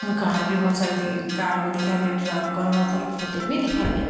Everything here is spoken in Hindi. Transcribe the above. कार भी बहुत सारी दी कार भी दिखाई दे रही ट्रक और बहुत सारे पौधे भी दिखाई दे रहे है --